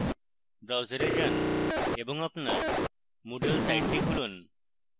browser যান এবং আপনার moodle সাইটটি খুলুন